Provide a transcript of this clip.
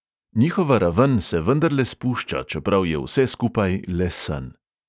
Njihova raven se vendarle spušča, čeprav je vse skupaj le sen.